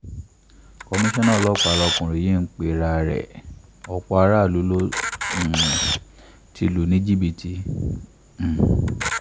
komisanna ọlọ́pàá ni ọkùnrin yìí ń pera ẹ̀ ọ̀pọ̀ aráàlú ló um ti lù ní ní jìbìtì um